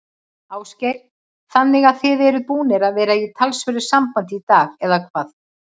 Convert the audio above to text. Ásgeir: Þannig að þið eruð búnir að vera í talsverðu sambandi í dag, eða hvað?